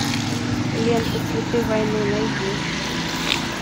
лента цветы войны найди